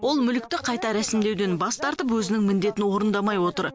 ол мүлікті қайта рәсімдеуден бас тартып өзінің міндетін орындамай отыр